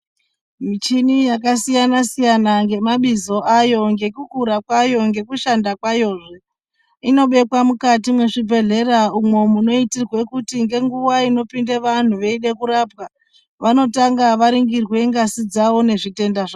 Muchini yakasiyana siyana nemabizo ayo nekukura kwayonnekushanda kwayo inobekwa mukati mezvibhehleya imo munoitirwa kuti nenguva inopinda vantu veida kurapwa vanotanga vaningirwa ngazi dzavo nezvitenda.